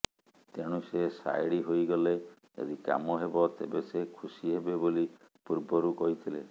ତେଣୁ ସେ ସାଇଡ ହୋଇଗଲେ ଯଦି କାମ ହେବ ତେବେ ସେ ଖୁସି ହେବେ ବୋଲି ପୂର୍ବରୁ କହିଥିଲେ